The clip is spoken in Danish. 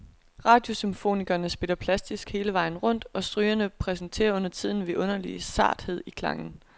Radiosymfonikerne spiller plastisk hele vejen rundt, og strygerne præsterer undertiden en vidunderlig sarthed i klangen.